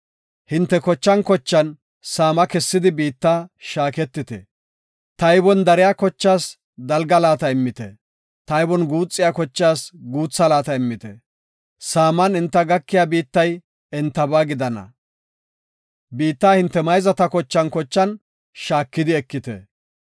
Hinte kochan kochan saama kessidi biitta shaaketite. Taybon dariya kochatas dalga laata immite; taybon guuxiya kochatas guutha laata immite. Saaman enta gakida biittay entaba gidana. Biittaa hinte mayzata kochan kochan shaakidi ekite.